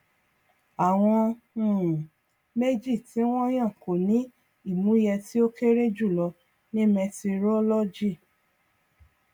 àwọn um méjì tí wọn yàn kò ní ìmúyẹ tí ó kéré jùlọ ní mẹtirolọgì